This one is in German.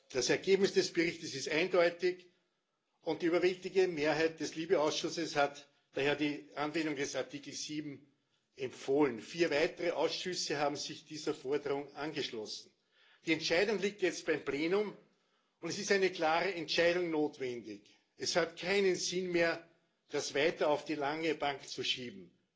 Das Ergebnis des Berichtes ist eindeutig, und die überwältigende Mehrheit des LIBE Ausschusses hat daher die Anwendung des Artikels 7 empfohlen. Vier weitere Ausschüsse haben sich dieser Forderung angeschlossen. Die Entscheidung liegt jetzt beim Plenum, und es ist eine klare Entscheidung notwendig. Es hat keinen Sinn mehr, das weiter auf die lange Bank zu schieben.